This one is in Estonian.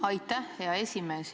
Aitäh, hea esimees!